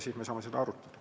Siis me saame seda arutada.